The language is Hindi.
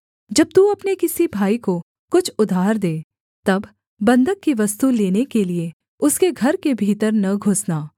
जब तू अपने किसी भाई को कुछ उधार दे तब बन्धक की वस्तु लेने के लिये उसके घर के भीतर न घुसना